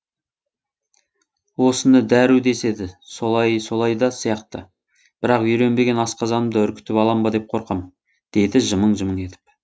осыны дәру деседі солайы солай да сияқты бірақ үйренбеген асқазанымды үркітіп алам ба деп қорқам деді жымың жымың етіп